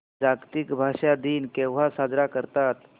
जागतिक भाषा दिन केव्हा साजरा करतात